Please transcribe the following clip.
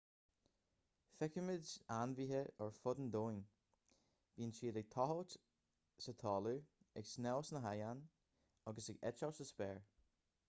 feicimid ainmhithe ar fud an domhain bíonn siad ag tochailt sa talamh ag snámh sna haigéin agus ag eitilt sa spéir